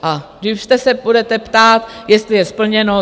A jistě se budete ptát, jestli je splněno?